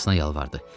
Tanrısına yalvardı.